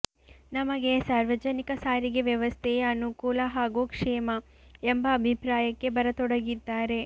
ನಮಗೆ ಸಾರ್ವಜನಿಕ ಸಾರಿಗೆ ವ್ಯವಸ್ಥೆಯೇ ಅನುಕೂಲ ಹಾಗೂ ಕ್ಷೇಮ ಎಂಬ ಅಭಿಪ್ರಾಯಕ್ಕೆ ಬರತೊಡಗಿದ್ದಾರೆ